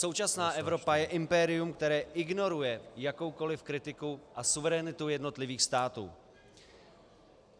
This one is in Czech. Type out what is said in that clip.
Současná Evropa je impérium, které ignoruje jakoukoliv kritiku a suverenitu jednotlivých států.